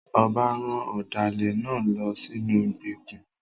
Ọba rán ọ̀dàlẹ̀ náà lọ sínú ìgbèkùn.